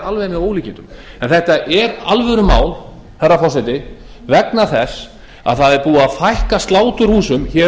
alveg með ólíkindum en þetta er alvörumál herra forseti vegna þess að það er búið að fækka sláturhúsum